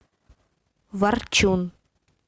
ворчун